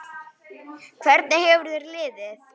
Hvernig hefur þér liðið?